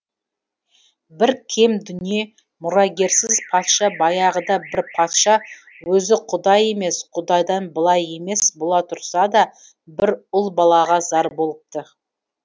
бір кем дүние мұрагерсіз патша баяғыда бір патша өзі құдай емес құдайдан былай емес бола тұрса да бір ұл балаға зар болыпты